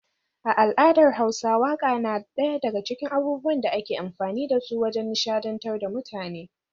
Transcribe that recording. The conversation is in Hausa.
A al’adar hausa waka na daya daga cikin abubuwan da ake amfani da su wajen nishadantar da mutane.